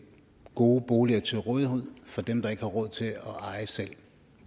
gode boliger til rådighed for dem der ikke har råd at eje selv